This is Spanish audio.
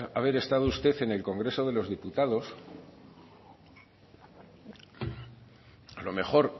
haber estado usted en el congreso de los diputados a lo mejor